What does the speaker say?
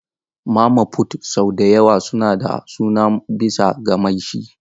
Mama fut sau da yawa suna da suna bisa ga mai shi.